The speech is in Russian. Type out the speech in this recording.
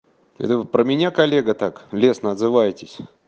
это вы про меня коллега так лестно отзываетесь